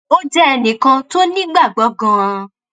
ó jẹ ẹnì kan tó nígbàgbọ ganan